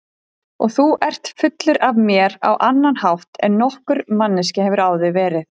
Og þú ert fullur af mér á annan hátt en nokkur manneskja hefur áður verið.